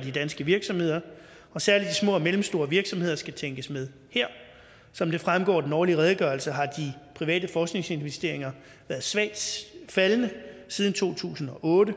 de danske virksomheder og særlig de små og mellemstore virksomheder skal tænkes med her som det fremgår af den årlige redegørelse har de private forskningsinvesteringer været svagt faldende siden to tusind og otte